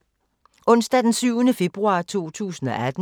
Onsdag d. 7. februar 2018